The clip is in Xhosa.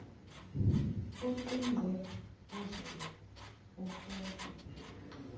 oqingqe ozobe ofote